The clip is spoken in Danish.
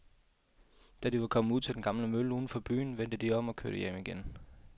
Da de var kommet ud til den gamle mølle uden for byen, vendte de om og kørte hjem igen.